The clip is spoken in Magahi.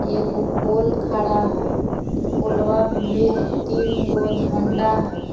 एगो पोल खड़ा हई पोलवा भीर तीनगो झंडा हई।